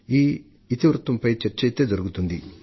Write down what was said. ఈ ఇతివృత్తంపై చర్చ అయితే జరుగుతుంది